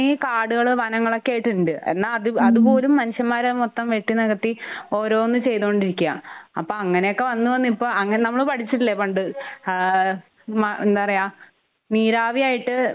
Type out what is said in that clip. കാടുകള് വനങ്ങളൊക്കെ ആയിട്ട്ണ്ട്. എന്നാ അത് അത് പോലും മനുഷ്യന്മാര് അത് മൊത്തം വെട്ടി നികത്തി ഓരോന്ന് ചെയ്തോണ്ടിരിക്കാ. അപ്പൊ അങ്ങനെയൊക്കെ വന്ന് വന്നു ഇപ്പൊ അങ്ങനെ നമ്മള് പഠിച്ചിട്ടില്ലേ? പണ്ട് ആഹ് മ എന്താ പറയാ? നീരാവി ആയിട്ട്